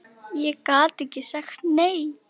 Ég gat ekki sagt nei.